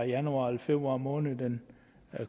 januar eller februar måned hvor den